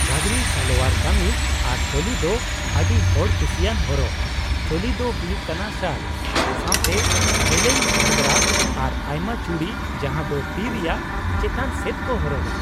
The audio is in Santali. ᱜᱷᱟᱜᱨᱤ, ᱥᱟᱞᱳᱣᱟᱨ ᱠᱟᱹᱢᱤᱡ, ᱟᱨ ᱪᱳᱞᱤ ᱫᱚ ᱟᱹᱰᱤ ᱦᱚᱲ ᱠᱩᱥᱤᱭᱟᱱ ᱦᱚᱨᱚᱜ ᱾ ᱪᱳᱞᱤ ᱫᱚ ᱦᱩᱭᱩᱜ ᱠᱟᱱᱟ ᱥᱟᱨᱴ ᱥᱟᱶᱛᱮ ᱡᱮᱞᱮᱧ ᱜᱷᱟᱜᱨᱟ ᱟᱨ ᱟᱭᱢᱟ ᱪᱩᱲᱤ ᱡᱟᱦᱟᱸ ᱫᱚ ᱛᱤ ᱨᱮᱭᱟᱜ ᱪᱮᱛᱟᱱ ᱥᱮᱫ ᱠᱚ ᱦᱚᱨᱚᱜᱼᱟ ᱾